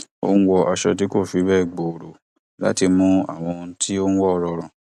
ó ń wọ aṣọ tí kò fi bẹẹ gbòòrò láti mú àwọn ohun tí ó ń wọ rọrùn